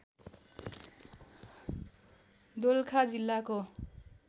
दोलखा जिल्लाको